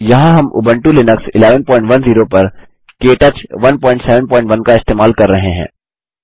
यहाँ हम Ubuntu Linux 11104 पर के टच 171 का इस्तेमाल कर रहे हैं